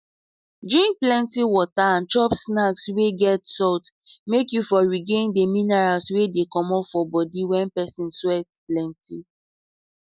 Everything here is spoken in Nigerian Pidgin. drink plenty water and chop snacks wey get salt make you for regain the minerals wey dey comot for body wen person sweat plenty